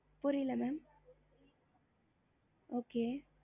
three thousand